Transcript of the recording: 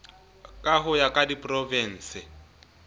ka ho ya ka diprovinse